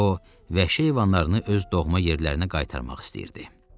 O vəhşi heyvanlarını öz doğma yerlərinə qaytarmaq istəyirdi.